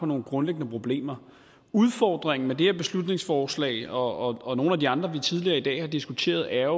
nogle grundlæggende problemer udfordringen med det her beslutningsforslag og og nogle af de andre beslutningsforslag vi tidligere i dag har diskuteret er